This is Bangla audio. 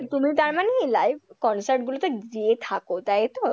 তুমি তার মানে live concert গুলোতে যেয়ে থাকো তাই তো?